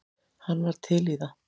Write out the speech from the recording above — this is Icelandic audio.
Hann var til í það.